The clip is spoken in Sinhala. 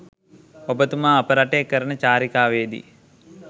ඔබතුමා අප රටේ කරන චාරිකාවේ දී